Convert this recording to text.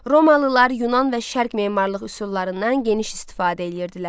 Romalılar Yunan və şərq memarlıq üsullarından geniş istifadə edirdilər.